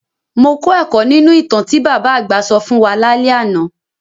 Mo kọ́ ẹ̀kọ́ nínu ìtàn tí bàbá àgbà sọ fún wa lálẹ́ àná.